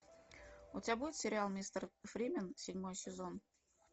у тебя будет сериал мистер фримен седьмой сезон